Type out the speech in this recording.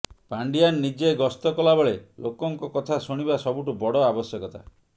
ପାଣ୍ଡିଆନ ନିଜେ ଗସ୍ତ କଲାବେଳେ ଲୋକଙ୍କ କଥା ଶୁଣିବା ସବୁଠୁ ବଡ ଆବଶ୍ୟକତା